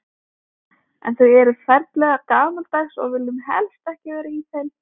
En þau eru ferlega gamaldags og við viljum helst ekki vera í þeim.